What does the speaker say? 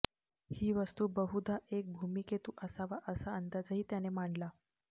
ही वस्तू बहुधा एक धूमकेतू असावा असा अंदाजही त्याने मांडला